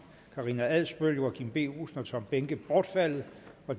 karina adsbøl joachim b olsen og tom behnke bortfaldet